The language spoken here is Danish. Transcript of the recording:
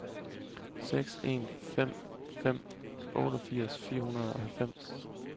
seks en fem fem otteogfirs fire hundrede og halvfems